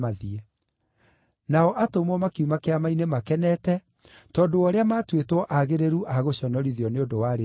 Nao atũmwo makiuma Kĩama-inĩ makenete tondũ wa ũrĩa maatuĩtwo aagĩrĩru a gũconorithio nĩ ũndũ wa Rĩĩtwa rĩu.